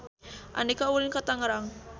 Andika ulin ka Tangerang